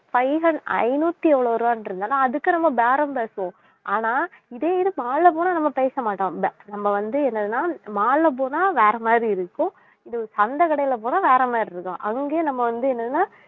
five hun~ ஐந்நூத்தி எவ்ளோ ரூபாய்ன்ட்டு இருந்தான்னா அதுக்கு நம்ம பேரம் பேசுவோம் ஆனா இதே இது mall ல போனா நம்ம பேசமாட்டோம் நம்ம வந்து என்னதுன்னா mall ல போனா வேற மாதிரி இருக்கும் இது சந்தை கடையில போனா வேற மாதிரி இருக்கும் அங்கேயே நம்ம வந்து என்னன்னா